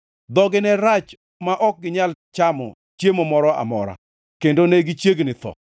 Dhogi ne rach ma ok ginyal chamo chiemo moro amora, kendo ne gichiegni tho.